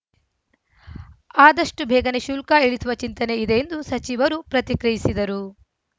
ಆದಷ್ಟುಬೇಗನೆ ಶುಲ್ಕ ಇಳಿಸುವ ಚಿಂತನೆ ಇದೆ ಎಂದು ಸಚಿವರು ಪ್ರತಿಕ್ರಿಯಿಸಿದರು